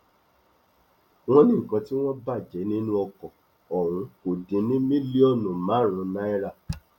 wọn ní nǹkan tí wọn bàjẹ nínú ọkọ ọhún kò dín ní mílíọnù márùnún náírà